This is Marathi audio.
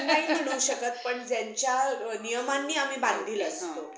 नाही म्हणू शकत पण ज्यांच्या नियमांनी आम्ही बांधील असतो.